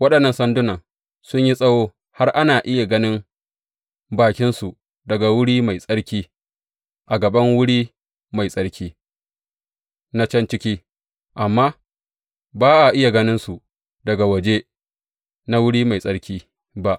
Waɗannan sandunan sun yi tsawo har ana iya ganin bakinsu daga Wuri Mai Tsarki a gaban wuri mai tsarki na can ciki, amma ba a iya ganinsu daga waje na Wuri Mai Tsarki ba.